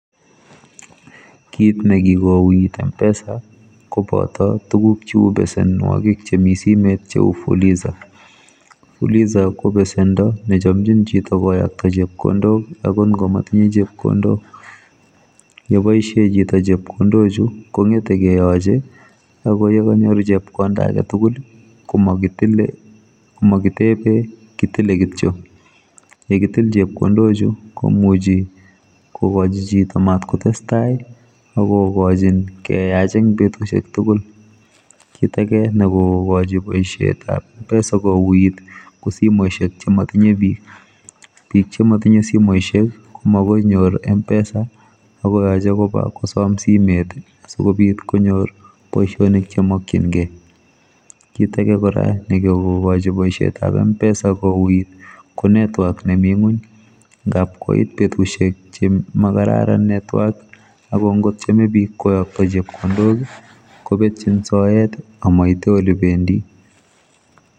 Kit nekikouit m-pesa koboto tuguk cheu besenwokik chemi simet cheu fuliza. Fuliza kobesendo nechomchin chito koyokto chepkondok angotngamatinye chepkondok yeboishe chito chepkondochu kongete keyoche akoyekanyor chepkonda aketugul komakitebe kitile kityo yekitil chepkondochu komuchi kokochi chito matkotestai akokochin keyach eng betusiek tugul kit ake nekomokochi boisietab mpesa kouit kosimosiek chematinye bik bik chematinye simosiek komakoinyor mpesa akoyoche koba kosom simet asikobit konyor boisionik chemakyingei kit ake kora nekokokoch boisietab mpesa kouit ko network nemi ngony ngapkoit betusiek chemakararan network akongotyeme bik koyokto chepkondok kobetyin soet amaite ole bendi